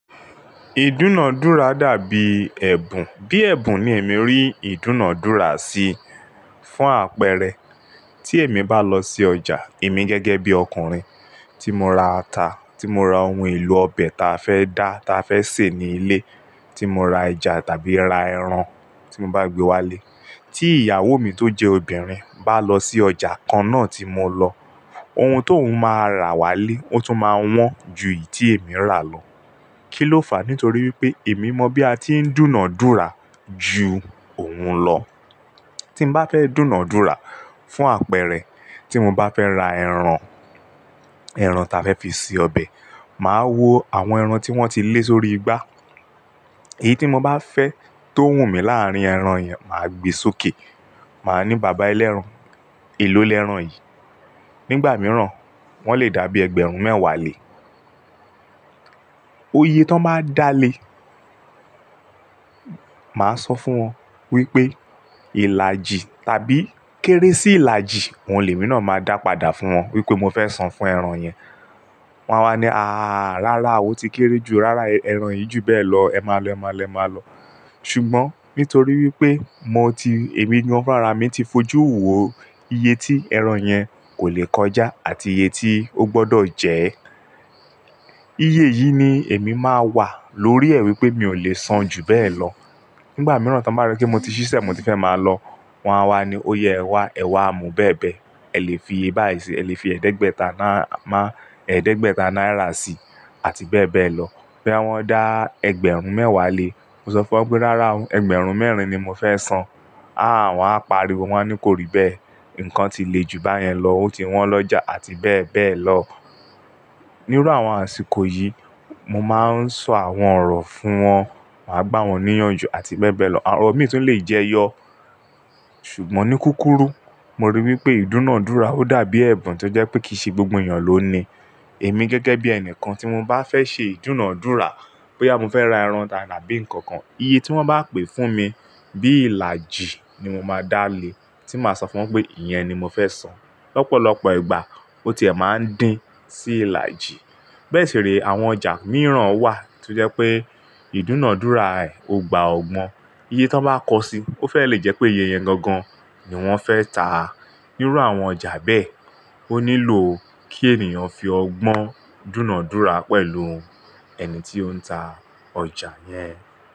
Ìdúnàádúrà dàbí ẹ̀bùn. Bí ẹ̀bùn ni èmi rí ìdúnàádúrà sí. Fún àpẹẹrẹ, tí èmi bá lọ sí ọjà, èmi gẹ́gẹ́ bí ọkùnrin, tí mo ra ata, tí mo ra ohun èlò ọbẹ̀ ta fẹ́ dá ta fẹ́ sè ní ilé, tí mo ra ẹja tàbí ra ẹran tí mo bá gbé wálé. Tí ìyàwó mi tó jẹ́ obìnrin bá lọ sí ọjà kan náà tí mo lọ, ohun tó ún máa ra wálé ó tún máa wọ́n ju èyí tí èmi rà lọ. Kí ló fàá? Nítorí pé èmi mọ bí a ti ń dúnàádúrà ju òun lọ. Tí n bá fẹ́ dúnàádúrà fún àpẹẹrẹ, tí mo bá fẹ́ ra ẹran, ẹran ta fẹ́ fi ṣe ọbẹ̀, màá wo àwọn ẹran tí wọ́n ti lé sórí igbá. Èyí tí mo bá fẹ́ tó wù mí láàrín ẹran yẹn, màá gbe sókè. Màá ní, "bàbá ẹlẹ́ran, èlò ẹlẹ́ran yìí?" Nígbà mìíràn, wọ́n lè dàbí ẹgbẹ̀rún mẹ́wàá lé. Oye tó bá dáa lé, màá sọ fún wọn wípé ìlàjì tàbí kéré sí ìlàjì. Àwọn ẹlòmíràn máa dàpadà fún wọn wípé mo fẹ́ san fún ẹran yẹn. Wọn á wá ní, "àáà, rárá o ti kéré jù, rárá ẹran yìí jù bẹ́ẹ̀ lọ. Ẹ máa lọ, ẹ máa lọ, ẹ máa lọ." Ṣùgbọ́n nítorí wípé mo ti, èmi gan-an rárá mi ti fojú wò iye tí ẹran yẹn kò lè kọjá àti iye tí ó gbọdọ̀ jẹ ẹ́. Iye yìí ni èmi máa wà lórí ẹ̀ wípé mi ò lè san jù bẹ́ẹ̀ lọ. Nígbà mìíràn tí wọ́n bá rí pé mo ti ṣíṣe, mo ti fẹ́ máa lọ, wọ́n á wá ní, "óyè ẹ wá, ẹ wá mu bẹ́ẹ̀ bẹ́ẹ̀. Ẹ lè fi báyìí sí i, ẹ lè fi ẹ̀ẹ́dẹ́gbẹ̀ta ná máa-- ẹ̀ẹ́dẹ́gbẹ̀ta náírà sí i" àti bẹ́ẹ̀ bẹ́ẹ̀ lọ. Boya wọ́n dá ẹgbẹ̀rún mẹ́wàá lé, mo sọ fún wọn pé, "rárá ẹgbẹ̀rún mẹ́rin ni mo fẹ́ san." "Àá" wọ́n á pariwo, wọ́n á ní, "kò rí bẹ́ẹ̀. Ǹkan ti le jù báyẹn lọ, ó ti wọ́n lọ́jà" àti bẹ́ẹ̀ bẹ́ẹ̀ lọ. Níru àwọn àsìkò yìí, mo máa ń sọ àwọn ọ̀rọ̀ fún wọn, màá gbá wọn ní ìyànjú àti bẹ́ẹ̀ bẹ́ẹ̀ lọ. Ọ̀rọ̀ mìíràn tún lè jẹyọ. Ṣùgbọ́n ní kúkúrú, mo rí i wípé ìdúnàádúrà ó dàbí ẹ̀bùn tí ó jẹ́ pé kìí ṣe gbogbo ènìyàn ló ní i. Èmi gẹ́gẹ́ bí ẹnìkan tí mo bá fẹ́ ṣe ìdúnàádúrà, bóyá mo fẹ́ ra ẹran tàbí nǹkan kan, iye tí wọ́n bá pè fún mi bí ìlàjì ni mo máa dá lé. Tí màá sọ fún wọn pé, "ìyẹn ni mo fẹ́ san." Lọ́pọ̀lọpọ̀ ìgbà ó ti ẹ́ máa ń dín sí ìlàjì. Bẹ́ẹ̀ sì re àwọn ọjà mìíràn wà tí ó jẹ́ pé ìdúnàádúrà ẹ, o gbàá o gbọ́n. Iye tí wọ́n bá kọ sí i, ó fẹ́ẹ̀ lè jẹ́ pé iye yẹn gangan ni wọ́n fẹ́ ta. Níru àwọn ọjà bẹ́ẹ̀, ó nílò kí ènìyàn fi ọgbọ́n dúnàádúrà pẹ̀lú ẹni tí ó ń ta ọjà yẹn.